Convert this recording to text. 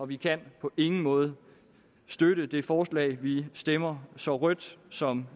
vi kan på ingen måde støtte det forslag vi stemmer så rødt som